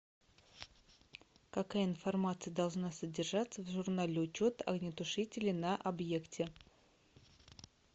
какая информация должна содержаться в журнале учета огнетушителей на объекте